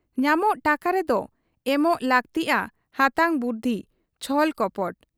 ᱧᱟᱢᱚᱜ ᱴᱟᱠᱟ ᱨᱮᱫᱚ ᱮᱢᱚᱜ ᱞᱟᱹᱠᱛᱤᱜ ᱟ ᱦᱟᱛᱟᱝ ᱵᱩᱫᱷᱤ ᱾ ᱪᱷᱚᱞ ᱠᱚᱯᱚᱴ ᱾